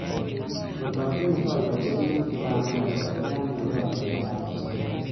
Kot atinye tolaisiek muut che po amerika ko tyana eng' tolaisiekab australia